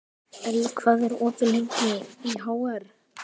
Elli, hvað er opið lengi í HR?